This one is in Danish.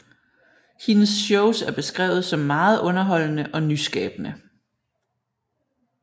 Hendes shows er beskrevet som meget underholdende og nyskabende